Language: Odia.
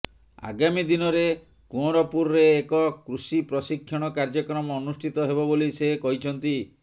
ଆଗାମୀ ଦିନରେ କୁଅଁରପୁରରେ ଏକ କୃଷିପ୍ରଶିକ୍ଷଣ କାର୍ଯ୍ୟକ୍ରମ ଅନୁଷ୍ଠିତ ହେବ ବୋଲି ସେ କହିଛନ୍ତି